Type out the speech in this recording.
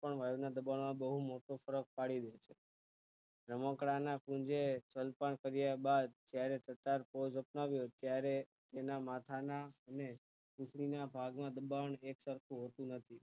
પણ હવા ના દબાણ માં જોઈએ તો પડી દે છે રમકડાં ના કુંજ એ જલપાન કર્યા બાદ જ્યારે મેળવે ત્યારે એમના માથા ના અને પીઠું ના ભાગે બંધારણ થી જ સરખુ હોતું નથી